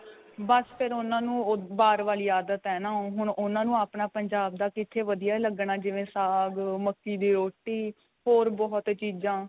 ਬੱਸ ਫ਼ਿਰ ਉਨ੍ਹਾਂ ਨੂੰ ਬਾਹਰ ਵਾਲੀ ਆਦਤ ਏ ਨਾ ਉਹ ਹੁਣ ਉਨ੍ਹਾਂ ਨੂੰ ਆਪਣਾ ਪੰਜਾਬ ਦਾ ਕਿੱਥੇ ਵਧੀਆ ਲੱਗਣਾ ਜਿਵੇਂ ਸਾਗ ਮੱਕੀ ਦੀ ਰੋਟੀ ਹੋਰ ਬਹੁਤ ਚੀਜ਼ਾ